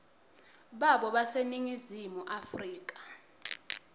babo baseningizimu afrika